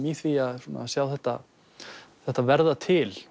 í því að sjá þetta þetta verða til